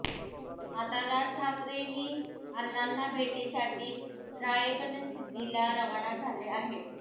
आता राज ठाकरेही अण्णांना भेटीसाठी राळेगणसिद्धीला रवाना झाले आहेत